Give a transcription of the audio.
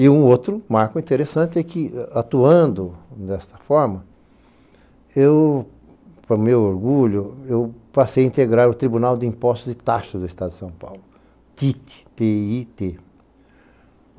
E um outro marco interessante é que, atuando desta forma, eu, para o meu orgulho, passei a integrar o Tribunal de Impostos e Taxas do Estado de São Paulo, TIT. T-I-T